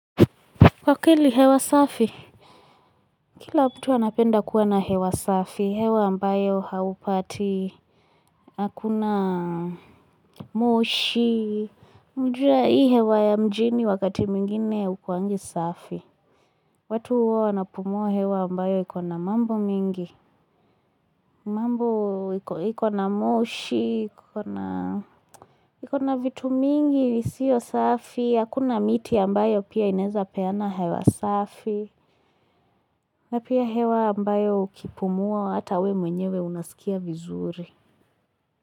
Aki ni hewa safi! Kila mtu anapenda kuwa na hewa safi, hewa ambayo haupati, hakuna moshi, mjue hii hewa ya mjini wakati mwingine hukuwangi safi. Watu huwa wanapumua hewa ambayo ikona mambo mingi, mambo ikona moshi, ikona vitu mingi, sio safi, hakuna miti ambayo pia ineza peana hewa safi. Na pia hewa ambayo ukipumua, hata wewe mwenyewe unasikia vizuri.